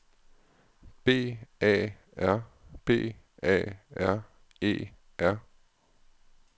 B A R B A R E R